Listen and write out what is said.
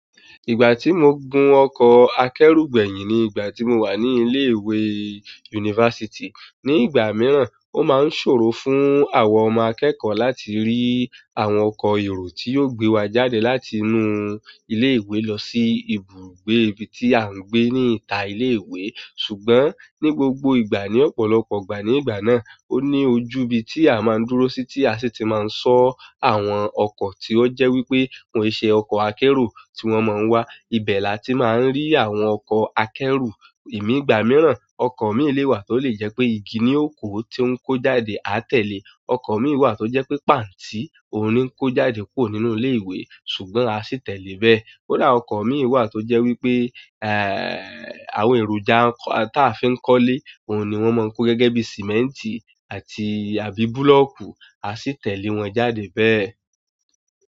Ìgbà tí mo gun ọkọ̀ akẹ́rù gbẹ̀yìn ní ìgbà tí mo wà ní ilé ìwé yunifásítì, ní ìgbà mìíràn ó máa ń ṣòro fún àwọn ọmọ akẹ́kọ̀ọ́ láti rí. Àwọn ọkọ èrò tí yó gbé wà jáde láti inú ilé ìwé lọsí ibùgbé ibi tí a ń gbé n'ita ilé ìwé ṣùgbọ́n ní gbogbo ìgbà ní ọ̀pọ̀lọpọ̀ ìgbà ní ìgbà náà, ó ní ojú ibi tí a máa ń dúró sí tí a sì ti máa ń sọ́ àwọn ọkọ̀ tí ó jẹ́ wípé wọ́n e ṣe ọkọ̀ akẹ́ro tí wón mọ̀ wá. Ibẹ láti má ń rí àwọn ọkọ akẹ́rù. Emi ìgbà míràn ọkọ mí lé wà tó lè jẹ pé igi ní o ko ti o ń ko jáde, a tẹle. Ọkọ̀ mìí wà tó jẹ́ pé pàntí òùn ńi kó jáde kurọ̀ nínú ilé ìwé ṣùgbọ́n a sì tẹ̀lé bẹ́ẹ̀. Kódà ọkọ̀ mìí wà tó jẹ́ wípé ẹ́ àwọn èròjà táa fi ń kọ́lé òun ni wón máa ń kó gẹ́gẹ́ bí sìmẹ́ǹtì àti àbí búlọ̀kù a sì tẹ̀lé wọn jáde bẹ́ẹ̀.